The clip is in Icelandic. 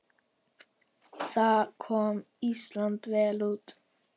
Þar kom Ísland vel út.